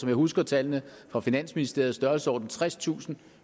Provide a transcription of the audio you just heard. jeg husker tallene fra finansministeriet størrelsesordenen tredstusind